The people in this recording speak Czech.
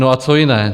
No a co jiné?